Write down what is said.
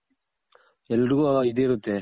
ಎಲ್ದ್ರಿಗೂ ಆ ಇದಿರುತ್ತೆ